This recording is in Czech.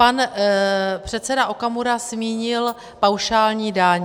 Pan předseda Okamura zmínil paušální daň.